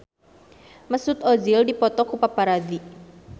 Mesut Ozil dipoto ku paparazi